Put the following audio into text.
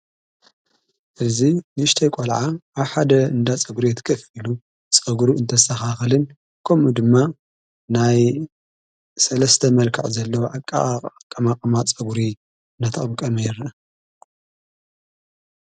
እዙ ንሽተ ኣይቈልዓ ኣሓደ እንዳ ጸጕሪ ትከፍሉ ጸጕሩ እንተሠኻኽልን ምኡ ድማ ናይ ሠለስተ መልከዕ ዘለዉ ኣቂ ኣቃማቕማ ጸጕሪ ናተቀምቀመ ይርከብ።